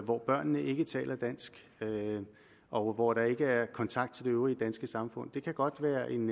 hvor børnene ikke taler dansk og hvor der ikke er kontakt til det øvrige danske samfund men det kan godt være en